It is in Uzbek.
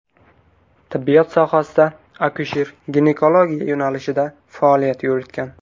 Tibbiyot sohasida akusher-ginekologiya yo‘nalishida faoliyat yuritgan.